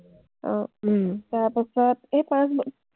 তাৰপাছত এই পাঁচ ব